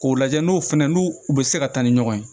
K'o lajɛ n'o fɛnɛ n'u u bɛ se ka taa ni ɲɔgɔn ye